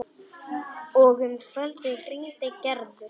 Og um kvöldið hringdi Gerður.